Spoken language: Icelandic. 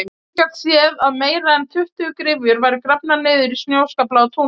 Enginn gat séð að meira en tuttugu gryfjur væru grafnar niður í snjóskaflana á túninu.